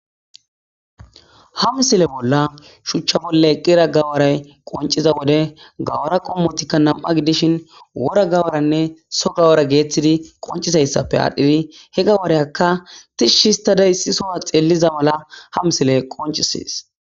Ha misile bolla shuuchcha bolla eqida gawaray qoncciza wode gawara qoommoyikka nam'a gidishin woora gawaranne soho gawara gettettidii qonccizayssappe aadhidi he gawariyakka tiishi histada issi soho xelliza mala ha misiley qonccises